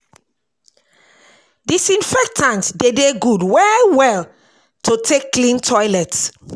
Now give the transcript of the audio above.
Disinfectant de dey good well well to take clean toilet